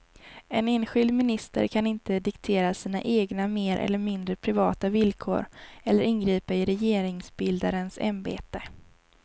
En enskild minister kan inte diktera sina egna mer eller mindre privata villkor eller ingripa i regeringsbildarens ämbete.